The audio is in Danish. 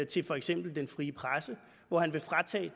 til for eksempel den frie presse hvor han vil fratage